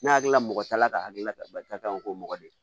Ne hakili la mɔgɔ ta la ka hakilina ta barika kan k'o mɔgɔ de